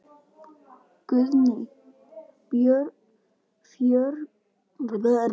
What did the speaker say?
Guðný: Fjörugur fundur?